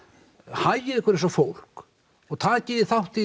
hagið ykkur eins og fólk og takið þátt í